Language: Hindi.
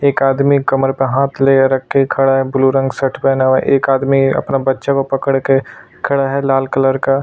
एक आदमी कमर पे हाथ ले रख के खड़ा है ब्लू रंग शर्ट पहना हुआ है एक आदमी अपना बच्चा को पडक के खड़ा है लाल कलर का।